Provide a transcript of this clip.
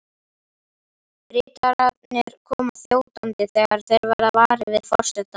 Ritararnir koma þjótandi þegar þeir verða varir við forsetann.